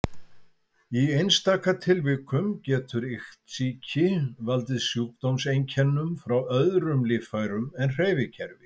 Í einstaka tilvikum getur iktsýki valdið sjúkdómseinkennum frá öðrum líffærum en hreyfikerfi.